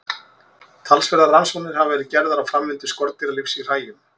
Talsverðar rannsóknir hafa verið gerðar á framvindu skordýralífs í hræjum.